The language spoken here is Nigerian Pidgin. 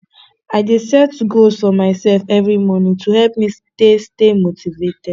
i dey set goals for myself every morning to help me stay stay motivated